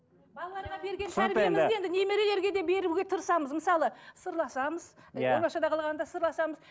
балаларға берген немерелелерге де беруге де тырысамыз мысалы сырласамыз иә оңаша қалғанда сырласамыз